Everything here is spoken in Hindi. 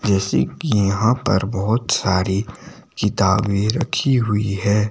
जैसे कि यहां पर बहोत सारी किताबें रखी हुई है।